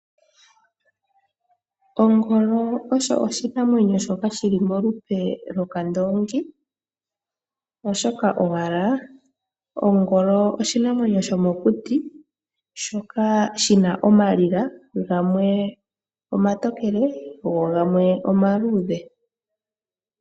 Ongolo osho oshinamwenyo shoka shi li molupe lwokandoongi, oshoka owala ongolo oshinamwenyo shomokuti shoka shi na oondjila dhimwe oontokele dhimwe oonduudhe.